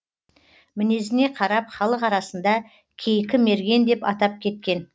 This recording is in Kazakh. мінезіне қарап халық арасында кейкі мерген деп атап кеткен